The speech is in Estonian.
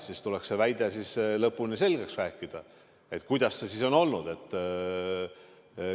Siis tuleks see väide lõpuni selgeks rääkida, et kuidas see siis on olnud.